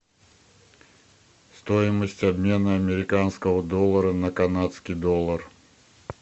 стоимость обмена американского доллара на канадский доллар